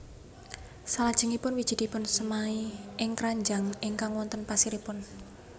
Salajengipun wiji dipunsemai ing kranjang ingkang wonten pasiripun